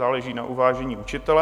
Záleží na uvážení učitele.